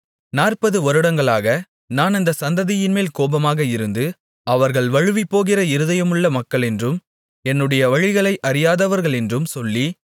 நாற்பது வருடங்களாக நான் அந்தச் சந்ததியின்மேல் கோபமாக இருந்து அவர்கள் வழுவிப்போகிற இருதயமுள்ள மக்களென்றும் என்னுடைய வழிகளை அறியாதவர்களென்றும் சொல்லி